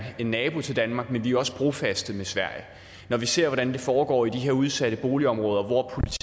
nabo til danmark men vi er også brofaste med sverige når vi ser hvordan det foregår i de her udsatte boligområder hvor